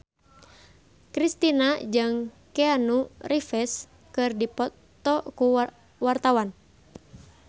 Kristina jeung Keanu Reeves keur dipoto ku wartawan